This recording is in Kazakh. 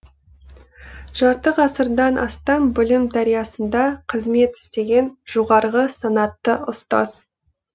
жарты ғасырдан астам білім дариясында қызмет істеген жоғарғы санатты ұстаз